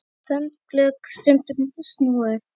Sönglög stundum snúin.